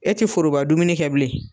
E ti foroba dumuni kɛ bilen.